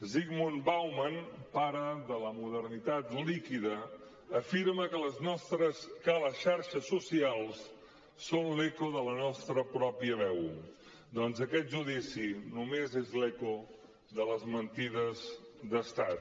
zygmunt bauman pare de la modernitat líquidasocials són l’eco de la nostra pròpia veu doncs aquest judici només és l’eco de les mentides d’estat